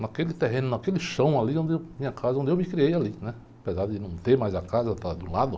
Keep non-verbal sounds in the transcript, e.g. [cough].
Naquele terreno, naquele chão ali onde eu, minha casa, onde eu me criei ali, né, apesar de não ter mais a casa. [unintelligible]